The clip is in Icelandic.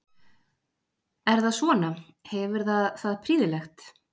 Er það svona, hefur það það prýðilegt?